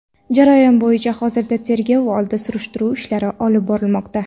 Jarayon bo‘yicha hozirda tergov oldi surishtiruv ishlari olib borilmoqda.